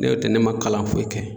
N'o tɛ ne ma kalan foyi kɛ